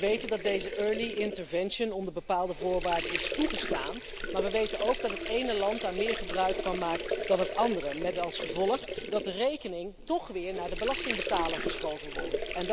We weten dat deze early intervention onder bepaalde voorwaarden is toegestaan, maar we weten ook dat het ene land daar meer gebruik van maakt dan het andere, met als gevolg dat de rekening toch weer naar de belastingbetaler geschoven wordt.